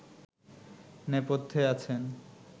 নেপথ্যে আছেন